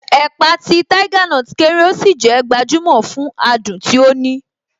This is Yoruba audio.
Ẹ̀pà ti Tiger kéré, ó sì jé gbajumo fún adùn tí ó ní.